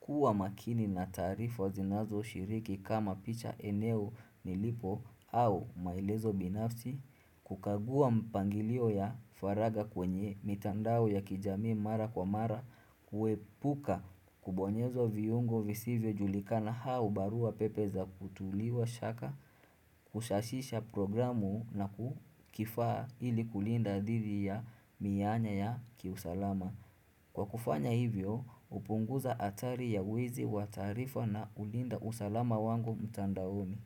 kuwa makini na taarifa zinazo shiriki kama picha eneo nilipo au maelezo binafti, kukaua mpangilio ya faraga kwenye mitandao ya kijamiu mara kwa mara kuepuka kubonyezo viungo visivyo julikana au barua pepe za kutuliwa shaka Kushashisha programu na kifaa ili kulinda didhi ya miyanya ya kiusalama Kwa kufanya hivyo upunguza atari ya uwizi wa taarifa na ulinda usalama wangu mtandaomi.